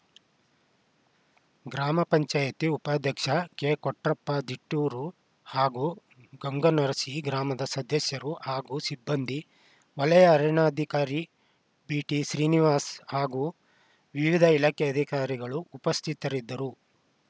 ಗ್ರಾಮ ಪಂಚಾಯಿತಿ ಉಪಾಧ್ಯಕ್ಷ ಕೆಕೊಟ್ರಪ್ಪ ದೀಟೂರು ಹಾಗೂ ಗಂಗನರಸಿ ಗ್ರಾಮದ ಸದಸ್ಯರು ಹಾಗೂ ಸಿಬ್ಬಂದಿ ವಲಯ ಅರಣ್ಯಾಧಿಕಾರಿ ಬಿಟಿ ಶ್ರೀನಿವಾಸ್‌ ಹಾಗೂ ವಿವಿಧ ಇಲಾಖೆ ಅಧಿಕಾರಿಗಳು ಉಪಸ್ಥಿತರಿದ್ದರು